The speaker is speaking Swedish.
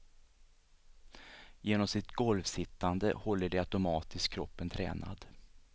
Genom sitt golvsittande håller de automatiskt kroppen tränad.